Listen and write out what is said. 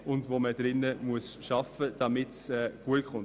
Mit diesen muss gearbeitet werden, damit es gut kommt.